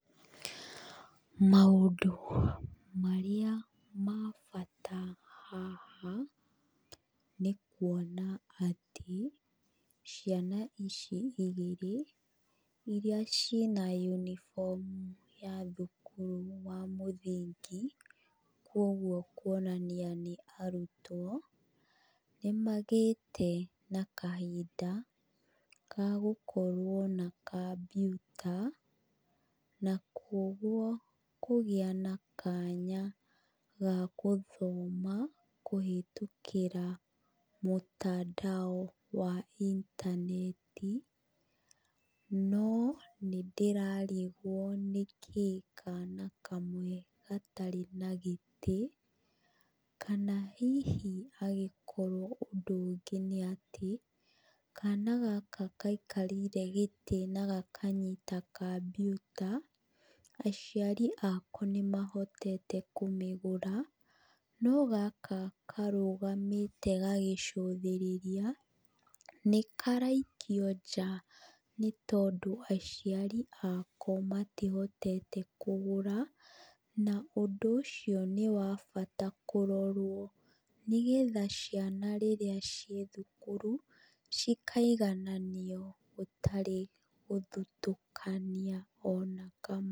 Maũndũ marĩa ma bata haha, nĩ kuona atĩ ciana ici igĩrĩ iria ci na yunibomu ya thukuru wa mũthingi, kuũguo kuonania nĩ arutwo, nĩ magĩte na kahimnda ga gũkorwo na kambiuta, na kuũguo kũgĩa na kanya ga gũthoma kũhĩtũkĩra mũtandao wa intaneti, no nĩ ndĩrarigwo nĩkĩ kana kamwe gatarĩ na gĩtĩ, kana hihi agĩkorwo ũndũ ũngĩ nĩ atĩ, kana gaka gaikarĩire gĩtĩ na gakanyita kambiuta, aciari ako nĩ mahotete kũmĩgũra, no gaka karũgamĩte gagĩcũthĩrĩria, nĩ karaikio nja nĩ tondũ aciari ako matihotete kũmĩgũra na ũndũ ũcio nĩ wa bata kũrorwo, nĩ getha ciana rĩrĩa ciĩ thukuru cikaigananio gũtarĩ gũthutũkania ona kamwe.